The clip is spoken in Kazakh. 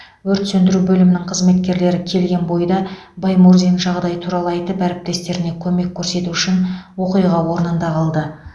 өрт сөндіру бөлімінің қызметкерлері келген бойда баймурзин жағдай туралы айтып әріптестеріне көмек көрсету үшін оқиға орнында қалды